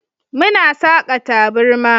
Muna saka taburma.